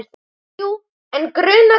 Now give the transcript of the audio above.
Jú, en gruna hvað?